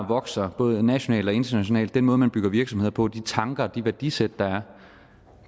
vokser både nationalt og internationalt den måde man bygger virksomhed på de tanker og det værdisæt der er